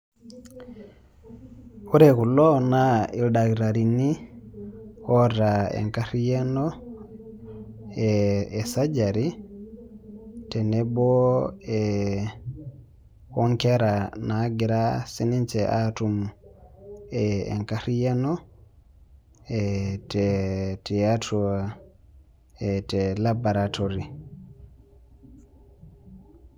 Ore kulo naa ildakitarini oata enkariano ee e surgery tenebo ee o nkera naagira sininje aatum enariano ee te tiatua e te laboratory.